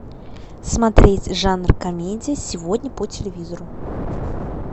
смотреть жанр комедии сегодня по телевизору